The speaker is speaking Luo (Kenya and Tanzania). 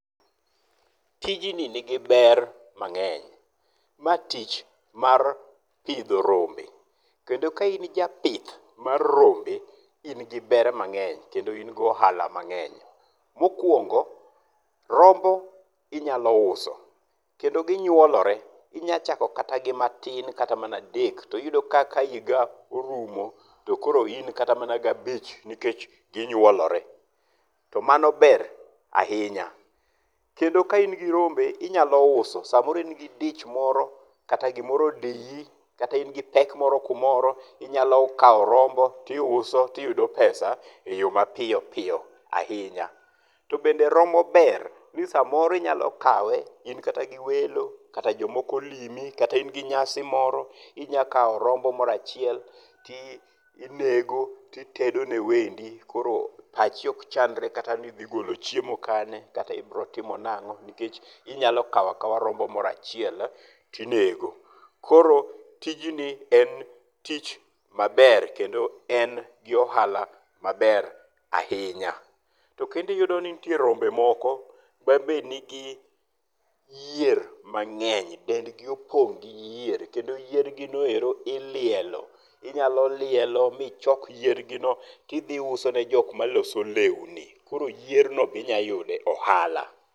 Tijni ni gi ber mang'eny. Ma tich mar pidho rombe. Kendo ka in japith mar rombe in gi ber mang'eny kendo in gi ohala mang'eny. Mokwongo, rombo inyalo uso kendo ginyuolore. Inyalo chako kata matin kata mana adek to iyudo ka higa orumo to koro in kata mana gi abich nikech gichuoloro. To mano be ahinya. Kendo ka in gi rombe nyalo uso samoro in gi dich moro kata gimoro odiyi kata in gi pek moro kumoro, inyalo kawo rombo to iuso to iyudo pesa e yo ma piyo piyo ahinya. To bende rombo ber ni samoro inyalo kawe in kata gi welo kata jomoko olimi kata in gi nyasi moro inyalo kawo rombo moro achiel to inego to itedo ne wendi korO pachi ok chandre kata ni idhi golo chiemo kanye kata ni ibiro timo nang'o nikech inyalo kawo akawa rombo moro achiel to inego. Koro tijni en tich maber kendo en gi ohala maber ahinya. To kendo iyudo ni nitie rombo moko ma be nigi yier mang'eny. Dend gi opong gi yier kendo yiergi noero ilielo. Inyalo lielo michok yiergino to idhi iuso ne jok maloso lewni. Koro yiergino be inyalo yudo e ohala.